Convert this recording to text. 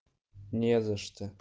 не за что